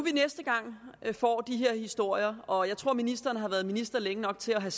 får de her historier og jeg tror at ministeren har været minister længe nok til at have